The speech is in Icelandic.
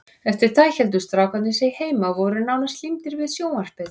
Eftir það héldu strákarnir sig heima og voru nánast límdir við sjónvarpið.